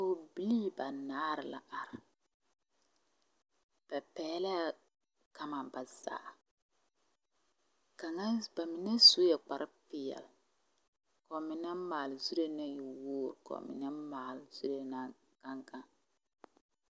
Pɔgebilii ba naare la are ba pɛglɛɛ gama ba zaa kaŋa ba mine sue kparre peɛle ka ba mine maale zuree ne woore ka ba mine maale soe naŋ gaŋ.